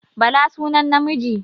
Bala sunan namiji